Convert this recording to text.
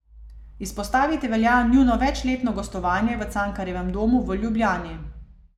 Izpostaviti velja njuno večletno gostovanje v Cankarjevem domu v Ljubljani.